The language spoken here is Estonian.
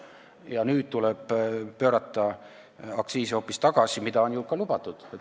Ja nüüd tuleb pöörata aktsiise hoopis tagasi, mida on ju ka lubatud.